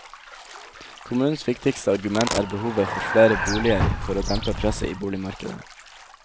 Kommunens viktigste argument er behovet for flere boliger for å dempe presset i boligmarkedet.